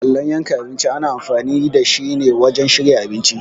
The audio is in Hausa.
Allon yankan abinci ana amfani dashi ne wajen shirya abinci.